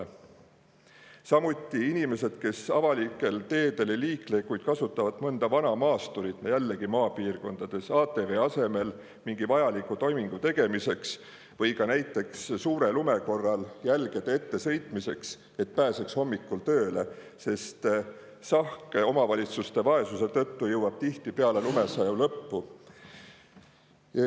Samuti, jällegi maapiirkondades, inimesi, kes avalikel teedel ei liikle, kuid kasutavad mõnda vana maasturit ATV asemel mingi vajaliku toimingu tegemiseks või näiteks suure lume korral jälgede ette sõitmiseks, et pääseks hommikul tööle, sest omavalitsuste vaesuse tõttu jõuab sahk sinna tihti alles peale lumesaju lõppu.